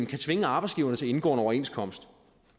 kan tvinge arbejdsgiverne til at indgå en overenskomst